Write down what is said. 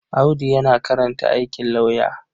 Audu yana karanta aikin lauyer.